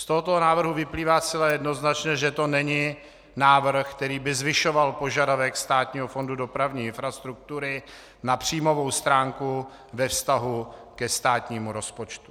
Z tohoto návrhu vyplývá zcela jednoznačně, že to není návrh, který by zvyšoval požadavek Státního fondu dopravní infrastruktury na příjmovou stránku ve vztahu ke státnímu rozpočtu.